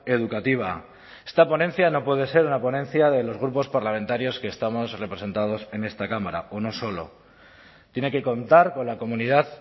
educativa esta ponencia no puede ser una ponencia de los grupos parlamentarios que estamos representados en esta cámara o no solo tiene que contar con la comunidad